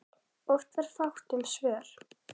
Oft var fátt um svör.